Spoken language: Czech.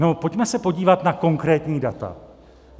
No pojďme se podívat na konkrétní data.